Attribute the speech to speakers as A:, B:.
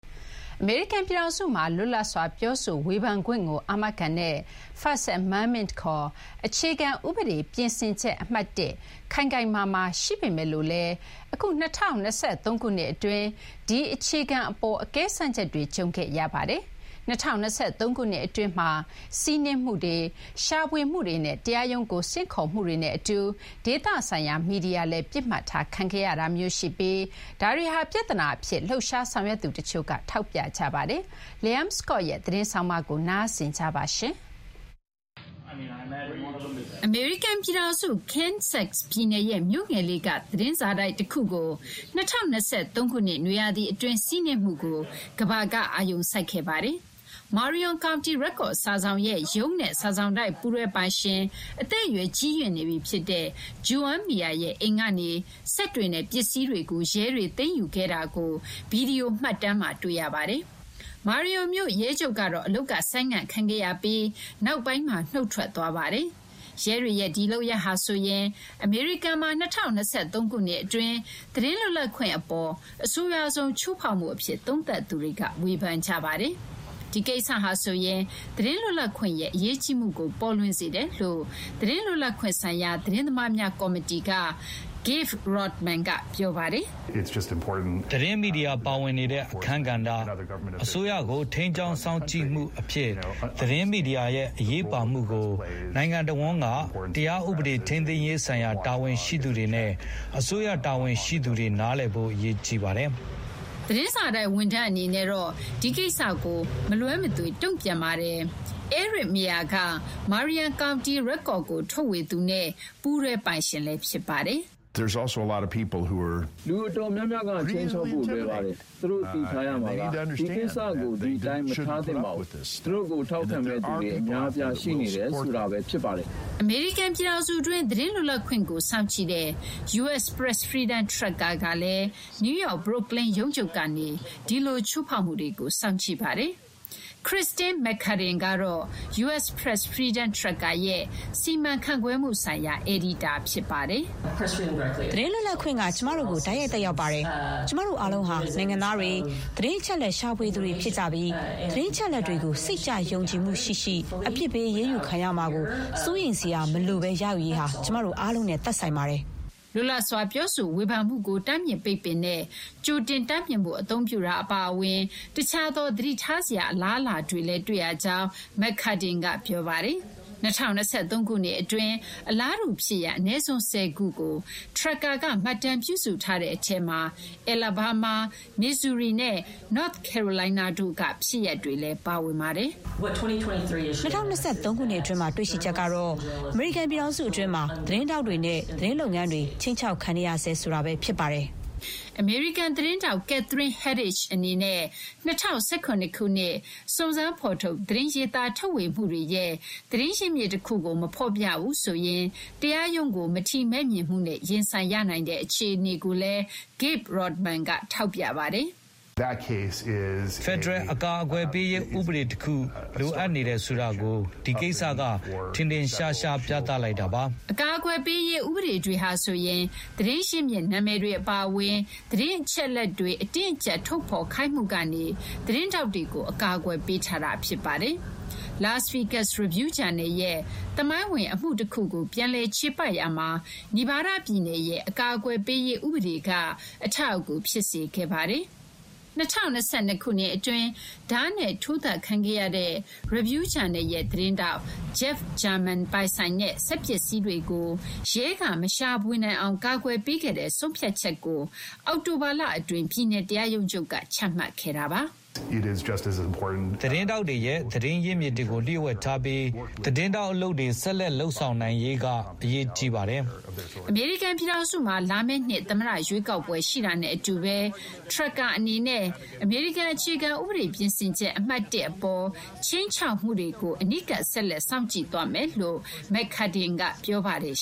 A: အမေရိကန် ပြည်ထောင်စုမှာ လွတ်လပ်စွာပြောဆိုဝေဖန်ခွင့်ကိုအာမခံတဲ့ First Amendment ခေါ် အခြေခံဥပဒေပြင်ဆင်ချက် အမှတ်(၁) ခိုင်ခိုင်မာမာ ရှိပေမဲ့လို့လည်း အခု ၂၀၂၃ ခုနှစ်အတွင်း ဒီအခြေခံအပေါ် အကဲစမ်းချက်တွေ ကြုံခဲ့ရပါတယ်။ ၂၀၂၃ ခုနှစ် အတွင်းမှာ စီးနင်းမှုတွေ၊ ရှာဖွေမှုတွေနဲ့ တရားရုံးကို ဆင့်ခေါ်မှုတွေနဲ့အတူ ဒေသဆိုင်ရာမီဒီယာလည်း ပစ်မှတ်ထားခံခဲ့ရတာမျိုးရှိပြီး ဒါတွေဟာ ပြဿနာအဖြစ် လှုပ်ရှားဆောင်ရွက်သူတချို့က ထောက်ပြကြပါတယ်။ Liam Scott ရဲ့ သတင်းဆောင်းပါးကို မသိင်္ဂီထိုက်က တင်ပြပေးထားပါတယ်။ အမေရိကန်ပြည်ထောင်စု Kansas ပြည်နယ်ရဲ့ မြို့ငယ်လေးက သတင်းစာတိုက်တခုကို ၂၀၂၃ ခုနှစ် နွေရာသီအတွင်းစီးနင်းမှုကို ကမ္ဘာက အာရုံစိုက်ခဲ့ကြပါတယ်။ Marion County Record စာစောင်ရဲ့ ရုံးနဲ့ စာစောင်တိုက် ပူးတွဲပိုင်ရှင် အသက်အရွယ်ကြီးရင့်နေပြီဖြစ်တဲ့ Joan Meyer ရဲ့အိမ်ကနေ စက်တွေနဲ့ ပစ္စည်းတွေကို ရဲတွေ သိမ်းယူခဲ့တာကို ဗွီဒီယိုမှတ်တမ်းမှာ တွေ့ရပါတယ်။ Marion မြို့ ရဲချုပ်ကတော့ အလုပ်က ဆိုင်းငံ့ခံခဲ့ရပြီးနောက်ပိုင်းမှာ နုတ်ထွက်သွားပါတယ်။ ရဲတွေရဲ့ဒီလုပ်ရပ်ဟာဆိုရင် အမေရိကန်မှာ ၂၀၂၃ ခုနှစ်အတွင်း သတင်းလွတ်လပ်ခွင့်အပေါ် အဆိုးရွားဆုံး ချိုးဖောက်မှုအဖြစ် သုံးသပ်သူတွေက ဝေဖန်ကြပါတယ်။ ဒီကိစ္စဟာဆိုရင် သတင်းလွတ်လပ်ခွင့်ရဲ့အရေးကြီးမှုကို ပေါ်လွင်စေတယ်လို့ သတင်းလွတ်လပ်ခွင့်ဆိုင်ရာ သတင်းသမားများ ကော်မတီက Gabe Rottman က ပြောပါတယ်
B: ။ “သတင်းမီဒီယာပါဝင်နေတဲ့ အခန်းကဏ္ဍ၊ အစိုးရကို ထိန်းကျောင်း စောင့်ကြည့်မှုအဖြစ် သတင်းမီဒီယာရဲ့အရေးပါမှုကို နိုင်ငံတဝန်းက တရားဥပဒေ ထိန်းသိမ်းရေးဆိုင်ရာ တာဝန်ရှိသူတွေနဲ့ အစိုးရ တာဝန်ရှိသူတွေ နားလည်ဖို့ အရေးကြီးပါတယ်။
A: ” သတင်းစာတိုက်ဝန်ထမ်းအနေနဲ့တော့ ဒီကိစ္စကို မလွဲမသွေ တုံ့ပြန်ပါတယ်။ Eric Meyer က Marion County Record ကို ထုတ်ဝေသူနဲ့ ပူးတွဲပိုင်ရှင်ဖြစ်ပါတယ်။ “
B: လူအတော်များများက ခြိမ်းခြောက်ဖို့လွယ်ပါတယ်။ သူတို့ သိထားရမှာက ဒီကိစ္စကို ဒီတိုင်းမထားသင့်ပါဘူး။ သူတို့ကို ထောက်ခံမယ့်သူတွေ အများအပြား ရှိနေတယ်ဆိုတာပဲ ဖြစ်ပါတယ်။
A: ” အမေရိကန်ပြည်ထောင်စုတွင်း သတင်းလွတ်လပ်ခွင့်ကို စောင့်ကြည့်တဲ့ U.S. Press Freedom Tracker ကလည်း နယူးယောက် Brooklyn ရုံးချုပ်ကနေ ဒီလို ချိုးဖောက်မှုတွေကို စောင့်ကြည့်နေတာပါ။ Kirstin McCudden ကတော့ U.S. Press Freedom Tracker ရဲ့ စီမံခန့်ခွဲမှုဆိုင်ရာ အယ်ဒီတာ ဖြစ်ပါတယ်။ “သတင်းလွတ်လပ်ခွင့်က ကျမတို့ကို တိုက်ရိုက် သက်ရောက်ပါတယ်။ ကျမတို့အားလုံးဟာ နိုင်ငံသားတွေ၊ သတင်းအချက်အလက် ရှာဖွေသူတွေ ဖြစ်ကြပြီး သတင်းအချက်အလက်တွေကို စိတ်ချယုံကြည်မှု ရှိရှိ၊ အပြစ်ပေး အရေးယူခံရမှာကို စိုးရိမ်စရာမလိုဘဲ ရယူရေးဟာ ကျမတို့ အားလုံးနဲ့ သက်ဆိုင်ပါတယ်။” လွတ်လပ်စွာ ပြောဆိုဝေဖန်မှုကို တားမြစ်ပိတ်ပင်တဲ့ ကြိုတင်တားမြစ်မှု အသုံးပြုတာအပါအဝင် တခြားသော သတိထားစရာ အလားအလာတွေလည်း တွေ့ရကြောင်း McCudden က ပြောပါတယ်။ ၂၀၂၃ ခုနှစ်အတွင်း အလားတူ ဖြစ်ရပ်အနည်းဆုံး ၁၀ ခုကို Tracker က မှတ်တမ်း ပြုစုထားတဲ့အထဲမှာ Alabama Missouri နဲ့ North Carolina တို့က ဖြစ်ရပ်တွေလည်း ပါဝင်ပါတယ်။ “၂၀၂၃ ခုနှစ်အတွင်းမှာ တွေ့ရှိချက်ကတော့ အမေရိကန် ပြည်ထောင်စုထဲမှာ သတင်းထောက်တွေနဲ့ သတင်းလုပ်ငန်းတွေ ခြိမ်းခြောက်ခံနေဆဲ ဆိုတာပဲ ဖြစ်ပါတယ်။” အမေရိကန် သတင်းထောက် Catherine Herridge အနေနဲ့ ၂၀၁၇ ခုနှစ် စုံစမ်းဖော်ထုတ် သတင်းရေးသားထုတ်ဝေမှုတွေရဲ့ သတင်းရင်းမြစ်တခုကို မဖော်ပြဘူးဆိုရင် တရားရုံးကို မထီမဲ့မြင်မှုနဲ့ ရင်ဆိုင်ရနိုင်တဲ့ အခြေအနေကိုလည်း Gabe Rottman က ထောက်ပြပါတယ်။
B: “ဖက်ဒရယ် အကာအကွယ်ပေးရေး ဥပဒေ တခု လိုအပ်နေတယ်ဆိုတာကို ဒီကိစ္စက ထင်ထင်ရှားရှား ပြသလိုက်တာပါ။
A: ” အကာအကွယ်ပေးရေး ဥပဒေတွေဟာဆိုရင် သတင်းရင်းမြစ် နာမည်တွေအပါအဝင် သတင်းအချက်အလက်တွေ အတင်းအကျပ် ထုတ်ဖော်ခိုင်းမှုကနေ သတင်းထောက်တွေကို အကာအကွယ်ပေးထားတာ ဖြစ်ပါတယ်။ Las Vegas Review-Journal ရဲ့ သမိုင်းဝင်အမှုတခုကို ပြန်လည်ချေပရာမှာ Nevada ပြည်နယ်ရဲ့ အကာအကွယ်ပေးရေးဥပဒေက အထောက်အကူ ဖြစ်စေခဲ့ပါတယ်။ ၂၀၂၂ ခုနှစ် အတွင်း ဓားနဲ့ထိုးသတ်ခံခဲ့ရတဲ့ Review-Journal ရဲ့ သတင်းထောက် Jeff German ပိုင်ဆိုင်တဲ့ စက်ပစ္စည်းတွေကို ရဲက မရှာဖွေနိုင်အောင် ကာကွယ်ပေးခဲ့တဲ့ဆုံးဖြတ်ချက်ကို အောက်တိုဘာလအတွင်း ပြည်နယ် တရားရုံးချုပ်က ချမှတ်ခဲ့တာပါ။
B: “သတင်းထောက်တွေရဲ့ သတင်းရင်းမြစ်တွေကို လျှို့ဝှက်ထားပြီး သတင်းထောက်အလုပ်တွေ ဆက်လက် လုပ်ဆောင်နိုင်ရေးက အရေးကြီးပါတယ်။
A: ” အမေရိကန်ပြည်ထောင်စုမှာ လာမယ့်နှစ် သမ္မတရွေးကောက်ပွဲ ရှိတာနဲ့အတူဘဲ Tracker အနေနဲ့ အမေရိကန် အခြေခံဥပဒေပြင်ဆင်ချက် အမှတ် ၁ အပေါ် ခြိမ်းခြောက်မှုတွေကို အနီးကပ် ဆက်လက် စောင့်ကြည့်သွားမယ်လို့လည်း McCudden က ပြောပါတယ်